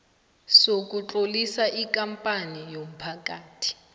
sokutlolisa ikampani yomphakathi